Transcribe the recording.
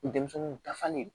Denmisɛnninw dafalen don